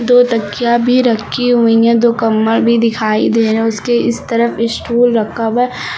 दो तकिया भी रखी हुई हैं दो कम्बल भी दिखाई दे रहे उसके इस तरफ स्टूल रखा हुआ है।